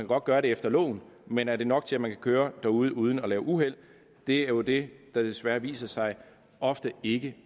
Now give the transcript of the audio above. godt gøre det efter loven men er det nok til at man kan køre derude uden at lave uheld det er jo det der desværre viser sig ofte ikke